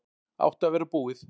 Átti að vera búið